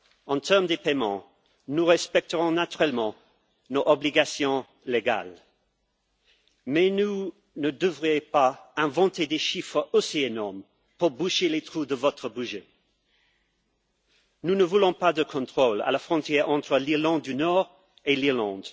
En matière de paiements, nous respecterons naturellement nos obligations juridiques, mais vous ne devrez pas inventer de chiffres aussi énormes pour boucher les trous de votre budget. Nous ne voulons pas de contrôles à la frontière entre l'Irlande du Nord et l'Irlande.